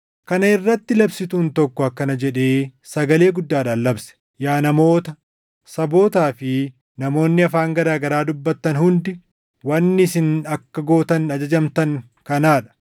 Kana irratti labsituun tokko akkana jedhee sagalee guddaadhaan labse; “Yaa namoota, sabootaa fi namoonni afaan garaa garaa dubbattan hundi, wanni isin akka gootan ajajamtan kanaa dha: